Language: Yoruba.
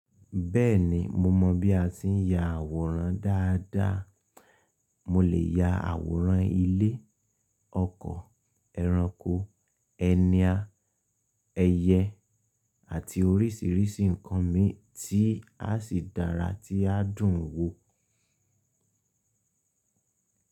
Bẹ́ẹ̀ni mo mọ bí a ti ń ya àwòrán dáadáa. Mo lè ya àwòrán ilé, ọkọ̀, ẹranko, ẹnia àti ẹyẹ, àti oríṣiríṣi nǹkan mi tí a sì dára tí a dùn wo.